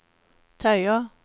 tøyer